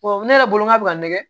ne yɛrɛ bolo n'a bɛ ka nɛgɛ